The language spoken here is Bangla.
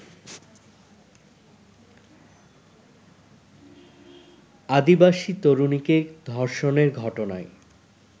আদিবাসী তরুণীকে ধর্ষণের ঘটনায়